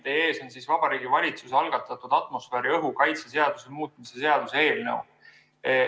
Teie ees on Vabariigi Valitsuse algatatud atmosfääriõhu kaitse seaduse muutmise seaduse eelnõu.